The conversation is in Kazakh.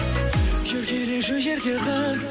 еркелеші ерке қыз